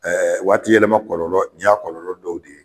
waati yɛlɛma kɔlɔlɔ ni y'a kɔlɔlɔ dɔw ye